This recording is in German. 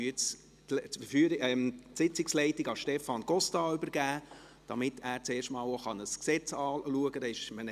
Ich übergebe die Sitzungsleitung nun an Stefan Costa, damit er zum ersten Mal auch ein Gesetz anschauen kann.